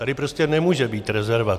Tady prostě nemůže být rezerva.